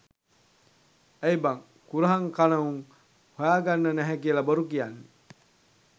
ඇයිං බං කුරහං කන උන් හොයාගන්න නැහැ කියලා බොරු කියන්නේ